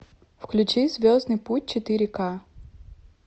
включи звездный путь четыре к